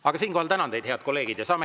Aga siinkohal tänan teid, head kolleegid!